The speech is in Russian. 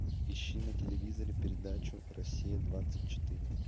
ищи на телевизоре передачу россия двадцать четыре